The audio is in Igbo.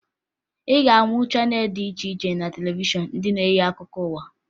Ị ga-ahụ channel dị iche iche na televishọn ndị nke na-enye akụkọ ụwa